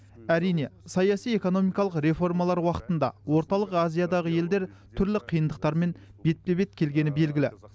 әрине саяси экономикалық реформалар уақытында орталық азиядағы елдер түрлі қиындықтармен бетпе бет келгені белгілі